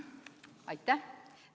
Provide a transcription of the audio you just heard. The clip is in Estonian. Aitäh!